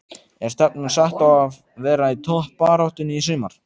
Er stefnan sett á að vera í toppbaráttunni í sumar?